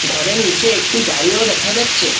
ঘরের নীচে একটি গাড়িও দেখা যাচ্ছে।